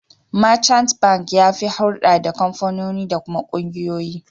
Merchant Bank ya fi hurɗa da kamfanoni da kuma ƙungiyoyi.